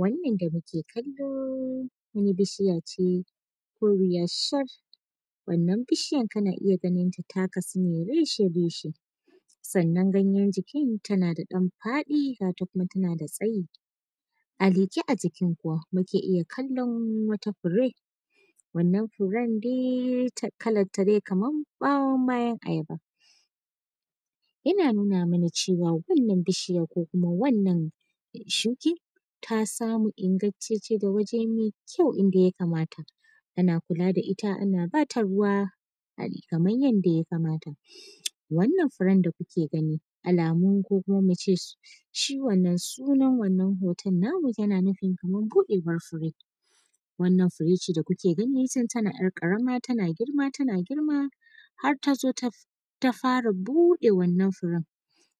Wannan da muke kallo wani bishiya ce koriya shar, wannan bishiyar kana iya ganinta ta kasu ne reshe-reshe sannan ganyar jikin tana da dan faɗi gata kuma tana da tsayi a leke a jinkin kuwa muke iya kallon wata fure wannan furen dai kalanta dai kamar bayan ayaba yana tuna mana cewa wannan bishiyar ko kuma wannan shukin ta samu ingantacen wuri mai kyau ida ya kamata ana kula da ita ana bata ruwa kamar yadda ya kamata, wannan furen da kuke gani alamu ko kuma muce shi wannan hoton namu yana nufin kamar buɗewar fure wannan fure ce da kuke gani tun tana ‘yar karama tana girma tana girma har tazo ta fara bude wannan furen